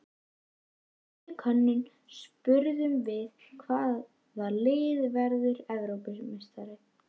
Í síðustu könnun spurðum við- Hvaða lið verður Evrópumeistari?